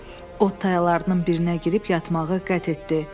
Ot tayalarının birinə girib yatmağa qət etdi.